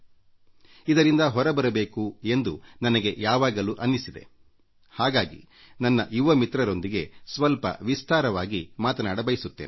ಇಂಥ ಪರಿಸ್ಥಿತಿಯಿಂದ ನಾವು ಹೊರಬರಬೇಕು ಎಂದು ನನಗೆ ಯಾವಾಗಲೂ ಅನ್ನಿಸಿದೆ ಹಾಗಾಗಿ ಇಂದು ನಾನು ನನ್ನ ಯುವ ಮಿತ್ರರೊಂದಿಗೆ ಸ್ವಲ್ಪ ವಿಸ್ತಾರವಾಗಿ ಮಾತನಾಡಬಯಸುತ್ತೇನೆ